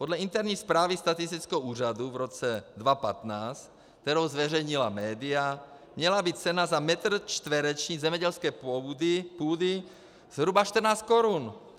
Podle interní zprávy statistického úřadu v roce 2015, kterou zveřejnila média, měla být cena za metr čtvereční zemědělské půdy zhruba 14 korun.